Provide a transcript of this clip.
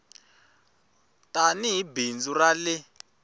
tani hi bindzu ra ie